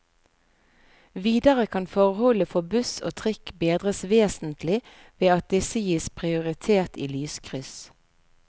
Videre kan forholdene for buss og trikk bedres vesentlig ved at disse gis prioritet i lyskryss.